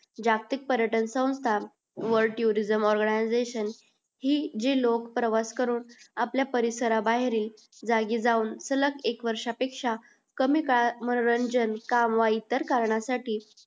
जास्तीक पर्यटन सौस्थान world tour organization जी लोक प्रवास करून आपल्या परिसरा बाहेर जागी जाऊन सलग एक वर्षा पेक्षा कमी काळ मनोरंजन काम व इतर कामा साठी हि